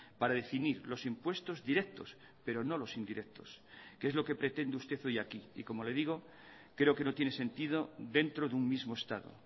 para definir los impuestos directos pero no los indirectos que es lo que pretende usted hoy aquí y como le digo creo que no tiene sentido dentro de un mismo estado